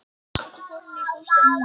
Ég sæki Þórunni í bústaðinn hennar.